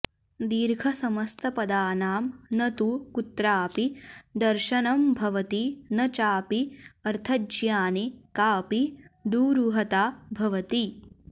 दीर्घसमस्तपदानां न तु कुत्राऽपि दर्शनम्भवति न चापि अर्थज्ञाने काऽपि दुरूहता भवति